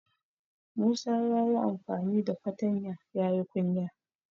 Musa ya yi amfani da fatanya ya yi kunya.